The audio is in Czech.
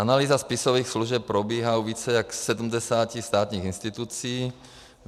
Analýza spisových služeb probíhá u více než 70 státních institucí.